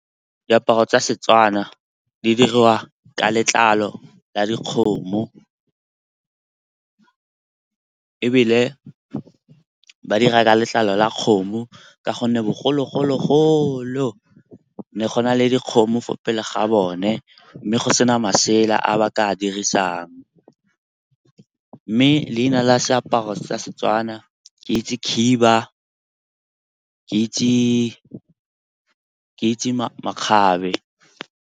Diaparo tsa seTswana di dirwa ka letlalo la dikgomo. Ebile ba dira ka letlalo la kgomo ka gonne bogologolo ne go na le dikgomo fo pele ga bone, mme go sena masela a ba ka dirisang. Mme leina la seaparo sa seTswana ke itse khiba, ke itse makgabe.